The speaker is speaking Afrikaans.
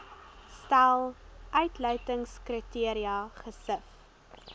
stel uitsluitingskriteria gesif